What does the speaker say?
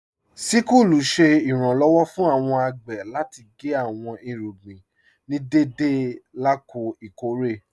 Síkùlù ṣẹ̀ iranlọ́wọ̀ fún awọn agbè láti gé awọn irúgbìn ní dẹdẹ lákọ̀ọ̀ ikọ̀ré.